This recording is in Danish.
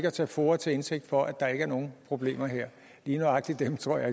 at tage foa til indtægt for at der ikke er nogen problemer her lige nøjagtig dem tror jeg